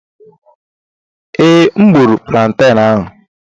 Ee, M gburu planten ahụ.